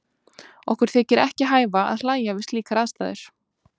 Okkur þykir ekki hæfa að hlæja við slíkar aðstæður.